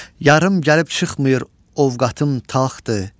Yarım gəlib çıxmır, ovqatım taxtdır.